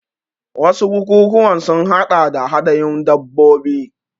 Wasu bukukuwan sun haɗa da hadayun dabbobi.